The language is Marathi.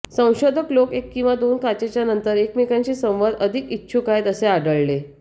संशोधक लोक एक किंवा दोन काचेच्या नंतर एकमेकांशी संवाद अधिक इच्छुक आहेत असे आढळले